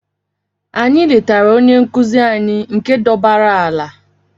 Anyị letara onye nkụzi anyị nke dọbaara ala.